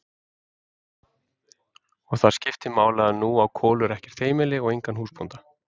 Og það skiptir máli að nú á Kolur ekkert heimili og engan húsbónda.